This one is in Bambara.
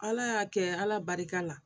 Ala y'a kɛ ala barika la